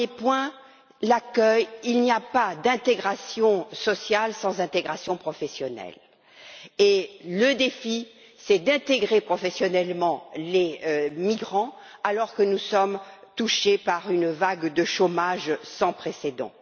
Le premier point, c'est l'accueil il n'y a pas d'intégration sociale sans intégration professionnelle, et le défi consiste à intégrer professionnellement les migrants alors même que nous sommes touchés par une vague de chômage sans précédent.